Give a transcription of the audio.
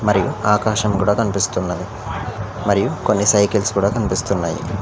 ఆకాశం కూడా కన్పిస్తున్నది మరియు కొన్ని సైకిల్స్ కూడా కన్పిస్తున్నాయి.